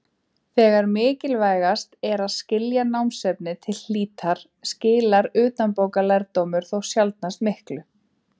Þegar mikilvægast er að skilja námsefnið til hlítar skilar utanbókarlærdómur þó sjaldnast miklu.